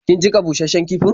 Kin jiƙa bushasshen kifin?